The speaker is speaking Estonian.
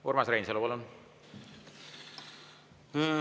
Urmas Reinsalu, palun!